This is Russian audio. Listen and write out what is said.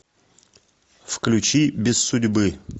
включи без судьбы